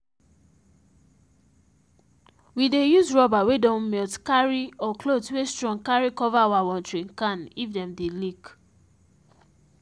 we dey use rubber where don melt carry or cloth wey strong carry cover our watering can if them dey leak